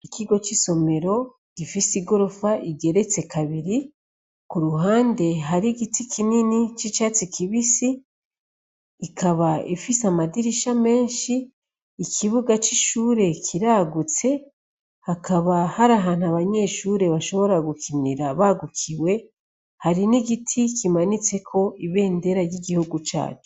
ikigo c'isomero gifise igorofa igeretse kabiri ku ruhande hari giti kinini c'icatsi kibisi ikaba ifise amadirisha menshi ikibuga c'ishure kiragutse hakaba hari ahantu abanyeshure bashobora gukinira bagukiwe hari n'igiti kimanitse ko ibendera y'igihugu cacu